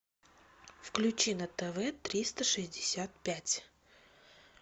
включи на тв триста шестьдесят пять